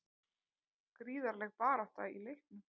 Gríðarleg barátta í leiknum